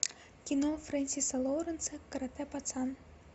кино френсиса лоренса карате пацан